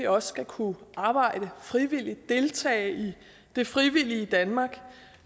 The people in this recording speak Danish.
også skal kunne arbejde frivilligt deltage i det frivillige danmark